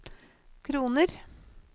kroner